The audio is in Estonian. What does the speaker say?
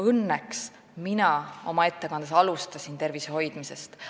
Õnneks mina oma ettekandes alustasin tervise hoidmisest.